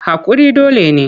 Haƙuri dole ne.